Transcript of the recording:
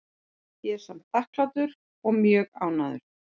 Ég er samt þakklátur og er mjög ánægður.